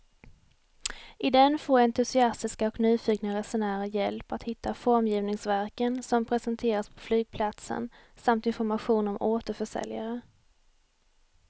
I den får entusiastiska och nyfikna resenärer hjälp att hitta formgivningsverken som presenteras på flygplatsen samt information om återförsäljare.